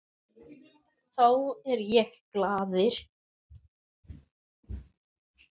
Þá er ég glaður.